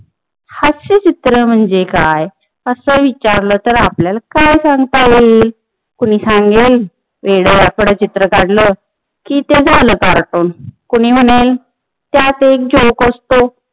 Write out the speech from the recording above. हास्य चित्र म्हणजे काय अस विचारल तर आपल्याला काय सांगता येईल, कुणी सांगेल येड वाकड चित्र काडल कि ते झालं कार्टून कुणी म्हणेल त्यात एक जोक असतो